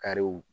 Kariw